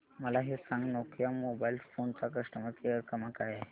मला हे सांग नोकिया मोबाईल फोन्स चा कस्टमर केअर क्रमांक काय आहे